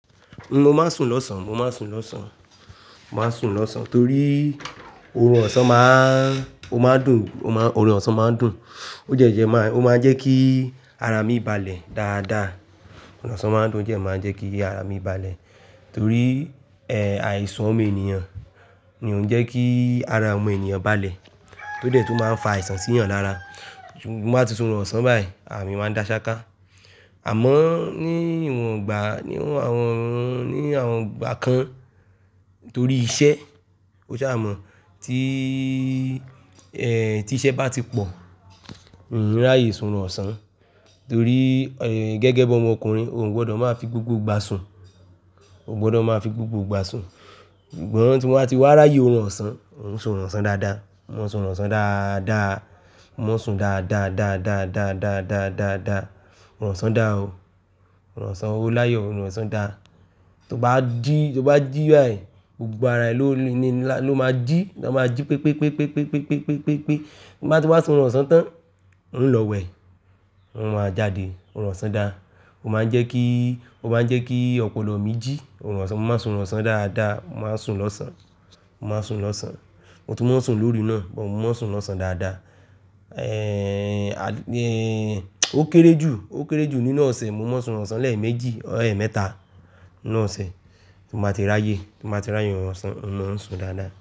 Mo máa ń sun lọ̀sán, mo máa ń sun lọ̀sán, mo máa ń sun lọ̀sán torí òrùn ọ̀sán máa, ó máa ń dùn, ó má, òrùn ọ̀sán máa ń dùn. Ó jẹ́ jẹ́ máa, ó máa ń jẹ́ kí ara mi balẹ̀ dáadáa. Òrùn ọ̀sán máa ń dùn, ó dẹ́ máa ń jẹ́ kí ara mi balẹ̀. Torí, ẹ́, àìsàn ọmọ ènìyàn ni òun ń jẹ́ kí ara ọmọ ènìyàn balẹ̀. Ó dẹ̀ tun máa ń fa àìsàn sí ènìyàn lára. Mo báa ti sun ọ̀rùn ọ̀sán báyìí, ara mi máa ń da ṣáká. Àmọ́ ní ìwọ̀n ìgbà, ní ìwọ̀n àwọn, ní àwọn ìgbà kan torí iṣẹ́, o ṣá mọ̀, tí, ẹ́, tí iṣẹ́ bá ti pọ̀, n rààyè sun ọ̀rùn ọ̀sán. Torí, ẹ́, gẹ́gẹ́ bi ọmọkùnrin o ò gbọdọ̀ máa fi gbogbo ìgbà sun. Oò gbọdọ̀ máa fi gbogbo ìgbà sun. Sugbon tí mo bá ti wá ráyè ọ̀rùn ọ̀sán, mò ń sun ọ̀rùn ọ̀sán dáadáa. Mò ń sun ọ̀rùn ọ̀sán dáadáa, mò ń sun dáadáa, dáadáa, dáadáa, dáadáa, dáadáa, ọ̀rùn ọ̀sán dà ó. Òrùn ọ̀sán oo láyọ̀, ọ̀rùn ọ̀sán dà. Tí o bá jí, tí o bá jí báyìí, gbogbo ara ẹ ló ni, ló máa jí. Lo máa jí pépépépépépépépépépé. Tí mo bá ti wá sun ọ̀rùn ọ̀sán tán, ń lọ wẹ̀, n wáa jáde, ọ̀rùn ọ̀sán dà. Ó máa ń jẹ́ kí, ó máa ń jẹ́ kí ọpọlọ mí jí. Òrùn ọ̀sán, mo máa ń sun ọ̀rùn ọ̀sán dáadáa, mo máa ń sun lọ́sàn-án. Mo máa ń sun lọ́sàn-án. Mo tun maa n sùn lóru náà, but mo maa ń sun lọ̀san dáadáa. Ẹ́, ó kéré jù, ó kéré jù nínú ọ̀sẹ̀, mo maa n sun orun ọ̀sán lẹ́ẹ̀ méjì, or emẹ́ta nínú ọ̀sẹ̀ tí mo bá ti ràyè. Tí mo bá ti ràyè ọ̀rùn ọ̀sán, mo máa ń sun dáadáa.